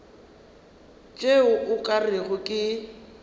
tšeo o ka rego ke